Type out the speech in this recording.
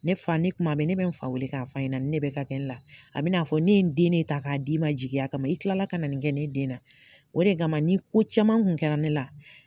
Ne fa ni kuma bɛ, ne bɛ n fa weele k'a fa ɲɛna, nin ne bɛ ka kɛ n la, a bin'a fɔ ne ye den ne ta k'a d'i ma jigiya kama i kilala ka na nin kɛ, ne den na o de kama, ni ko caman kun kɛra ne den la